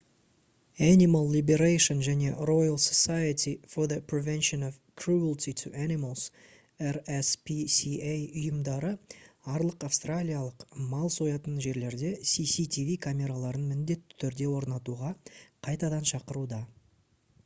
animal liberation және royal society for the prevention of cruelty to animals rspca ұйымдары арлық австралиялық мал соятын жерлерде cctv камераларын міндетті түрде орнатуға қайтадан шақыруда